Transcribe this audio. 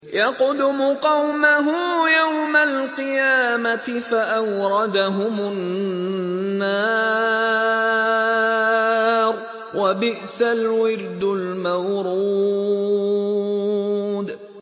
يَقْدُمُ قَوْمَهُ يَوْمَ الْقِيَامَةِ فَأَوْرَدَهُمُ النَّارَ ۖ وَبِئْسَ الْوِرْدُ الْمَوْرُودُ